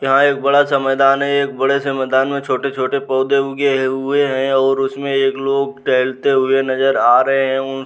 यहाँ एक बड़ा सा मैदान है। एक बड़े से मैदान मे छोटे-छोटे पौधे उगे हुए है और उसमे एक लोग टहलते हुए नजर आ रहे हैं। उन --